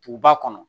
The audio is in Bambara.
Duguba kɔnɔ